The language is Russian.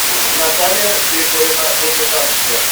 наталья григорьевна рубежанская